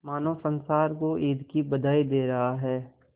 मानो संसार को ईद की बधाई दे रहा है